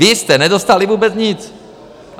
Vy jste nedostali vůbec nic!